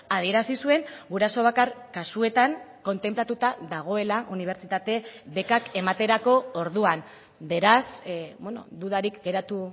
adierazi zuen guraso bakar kasuetan kontenplatuta dagoela unibertsitate bekak ematerako orduan beraz dudarik geratu